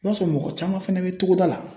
I b'a sɔrɔ mɔgɔ caman fɛnɛ bɛ togoda la.